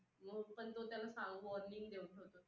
आणि हेच जे सर्व सु सदस्य आहेत तर पुणेरनिर्वुनिकीसाठी पात्र असतात.